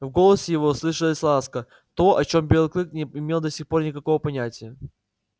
в голосе его слышалась ласка то о чём белый клык не имел до сих пор никакого понятия